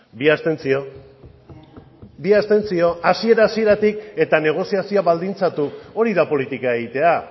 bi abstentzio bi abstentzio hasiera hasieratik eta negoziazioa baldintzatu hori da politika egitea